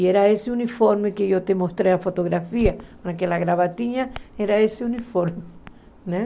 E era esse uniforme que eu te mostrei a fotografia, com aquela gravatinha, era esse uniforme.